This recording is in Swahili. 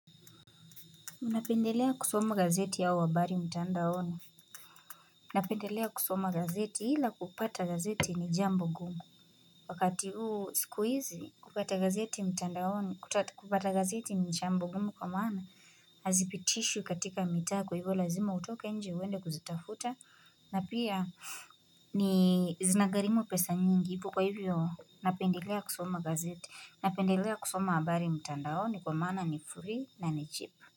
Unapendelea kusoma gazeti hao habari mtandaoni? Napendelea kusoma gazeti hila kupata gazeti ni jambo gumu Wakati huu sikuizi kupata gazeti mtandaoni kupata gazeti ni jambo gumu kwa maana Hazipitishwi katika mitaa kwa hivyo lazima utoke nje uwende kuzitafuta na pia zinagharimu pesa nyingi kwa hivyo napendelea kusoma gazeti napendelea kusoma habari mtandahoni kwa maana ni free na ni cheap.